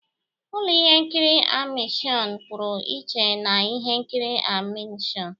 Ụlọ ihe nkiri animeshịon pụrụ iche na ihe nkiri animeshịon.